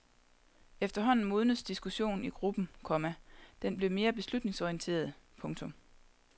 Efterhånden modnedes diskussionen i gruppen, komma den blev mere beslutningsorienteret. punktum